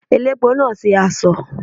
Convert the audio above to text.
Elépo náà ṣe asọ̀.